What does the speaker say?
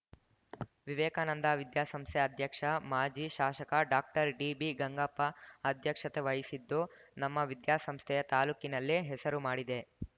ವಿವೇಕಾನಂದ ವಿದ್ಯಾಸಂಸ್ಥೆ ಅಧ್ಯಕ್ಷ ಮಾಜಿ ಶಾಶಕ ಡಾಕ್ಟರ್ಡಿಬಿಗಂಗಪ್ಪ ಅಧ್ಯಕ್ಷತೆ ವಹಿಸಿದ್ದು ನಮ್ಮ ವಿದ್ಯಾಸಂಸ್ಥೆಯ ತಾಲೂಕಿನಲ್ಲಿ ಹೆಸರು ಮಾಡಿದೆ